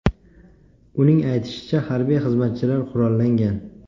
Uning aytishicha, harbiy xizmatchilar qurollangan.